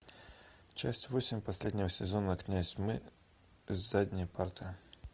часть восемь последнего сезона князь тьмы с задней парты